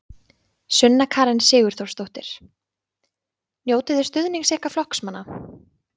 Sunna Karen Sigurþórsdóttir: Njótiði stuðnings ykkar flokksmanna?